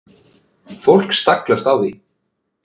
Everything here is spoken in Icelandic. Fólk staglast á því.